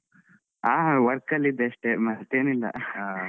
ಹಾ work ಅಲ್ಲಿದ್ದೆ ಅಷ್ಟೇ ಮತ್ತೇನಿಲ್ಲ .